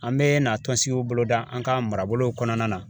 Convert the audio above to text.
An bɛna tɔnsigiw bolo da, an ka marabolow kɔnɔna na.